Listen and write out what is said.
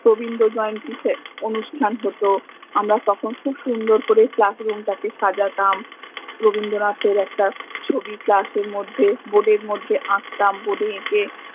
আমরা তখন খুব সুন্দর করে classroom টাকে সাজাতাম, রবীন্দ্রনাথের ছ্বি একটা class এর মধে board এর মধে আকতাম board এ একে